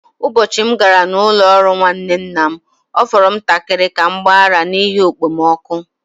Ụbọchị m gara n’ụlọ ọrụ nwanne nna m, ọ fọrọ ntakịrị ka m gbaa ara n’ihi okpomọkụ.